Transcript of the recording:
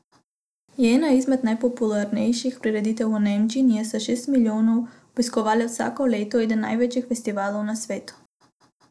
Je ena izmed najpopularnejših prireditev v Nemčiji in je s šest milijoni obiskovalcev vsako leto eden največjih festivalov na svetu.